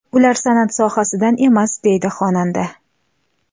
Ular san’at sohasidan emas”, deydi xonanda.